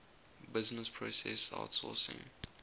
business process outsourcing